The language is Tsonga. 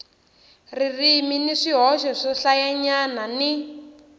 ririmi ni swihoxo swohlayanyana ni